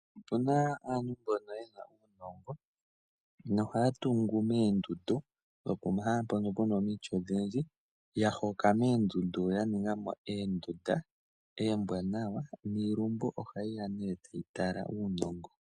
Opu na aantu mbono ye na uunongo nohaya tungu moondundu nopomahala mpono pu na omiti odhindji, ya hoka moondundu ya ninga mo oondunda oombwanawa niilumbu ohayi ya nduno tayi tala uunongo.